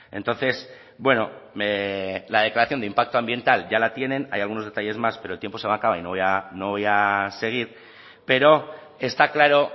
entonces bueno la declaración de impacto ambiental ya la tienen hay algunos detalles más pero el tiempo se me acaba y no voy a no voy a seguir pero está claro